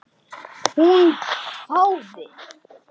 Hún hváði.